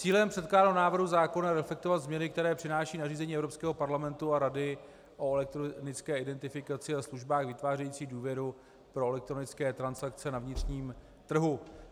Cílem předkládaného návrhu zákona je reflektovat změny, které přináší nařízení Evropského parlamentu a Rady o elektronické identifikaci a službách vytvářejících důvěru pro elektronické transakce na vnitřním trhu.